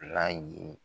Ala ye